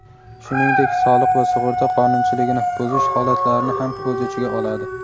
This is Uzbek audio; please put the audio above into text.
shuningdek soliq va sug‘urta qonunchiligini buzish holatlarini ham o‘z ichiga oladi.